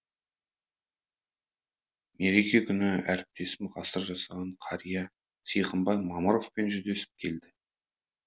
мереке күні әріптесім ғасыр жасаған қария сиқымбай мамыровпен жүздесіп келді